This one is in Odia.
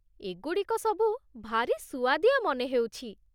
ଏଗୁଡ଼ିକ ସବୁ ଭାରି ସୁଆଦିଆ ମନେ ହେଉଛି ।